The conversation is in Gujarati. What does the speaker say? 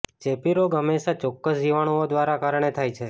ચેપી રોગો હંમેશા ચોક્કસ જીવાણુંઓ દ્વારા કારણે થાય છે